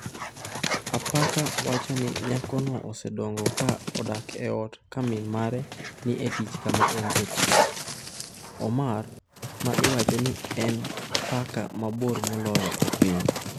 Apaka wacho ni nyakono osedongo ka odak e ot ka min mare ni e tich kama en jatich. Omar, ma iwacho ni en paka mabor moloyo e piny